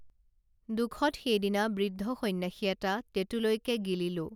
দুখত সেইদিনা বৃদ্ধ সন্যাসী এটা টেঁটুলৈকে গিলিলো